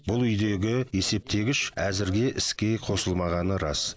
бұл үйдегі есептегіш әзірге іске қосылмағаны рас